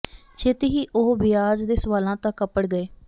ਛੇਤੀ ਹੀ ਉਹ ਵਿਆਜ ਦੇ ਸਵਾਲਾਂ ਤੱਕ ਅੱਪੜ ਗਏ